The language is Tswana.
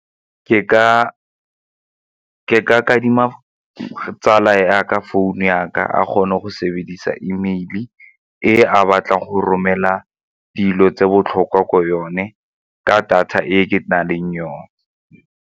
Ke ka kadima tsala ya ka founu ya ka a kgone go sebedisa E mail-e ge a batla go romela dilo tse botlhokwa ko yone ka data e ke na leng yone.